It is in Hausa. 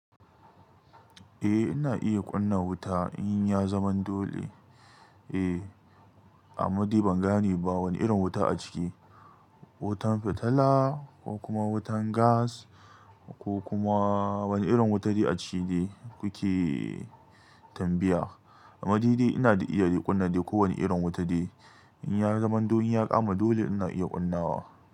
Eh ina iya ƙuna wuta in ya zama dole. Eh, amma dai ban gane ba wane irin wuta a ciki. Wutan fitila ko kuma wutan gas ko kuma wani irin wuta dai a ciki kuke tambaya? Amma dai ina iya kunna ko wane irin wuta dai. In ya zaman don in ya kama dole ina iya ƙunnawa.